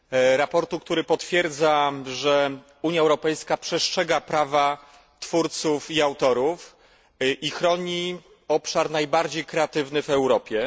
Sprawozdanie, które potwierdza, że Unia Europejska przestrzega prawa twórców i autorów i chroni obszar najbardziej kreatywny w Europie.